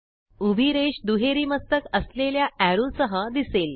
उभी रेष दुहेरी मस्तक असलेल्या एरो सह दिसेल